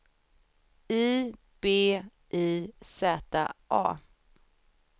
I B I Z A